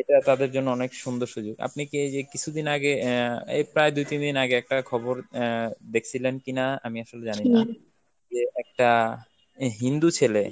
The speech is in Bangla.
এটা তাদের জন্য অনেক সুন্দর সুযোগ, আপনি কি এইযে কিছুদিন আগে অ্যাঁ এই প্রায় দু-তিন দিন আগে একটা খবর অ্যাঁ দেখছিলেন কিনা আমি আসলে জানিনা, যে একটা হিন্দু ছেলে